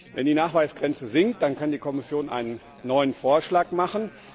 Wenn die Nachweisgrenze sinkt, dann kann die Kommission einen neuen Vorschlag machen.